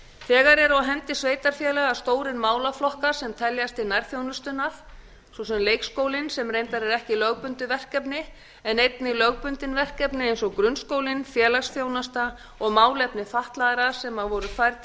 þegar eru á hendi sveitarfélaga stórir málaflokkar sem teljast til nærþjónustunnar svo sem leikskólinn sem reyndar er ekki lögbundið verkefni en einnig lögbundin verkefni eins og grunnskólinn félagsþjónusta og málefni fatlaðra sem voru færð voru til